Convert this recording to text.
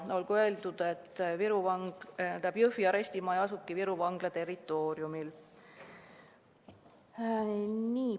Olgu öeldud, et Jõhvi arestimaja asubki Viru Vangla territooriumil.